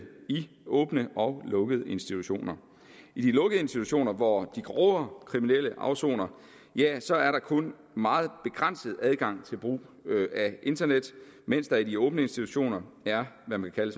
i åbne og lukkede institutioner i de lukkede institutioner hvor de grovere kriminelle afsoner er der er der kun meget begrænset adgang til brug af internet mens der i de åbne institutioner er hvad man kan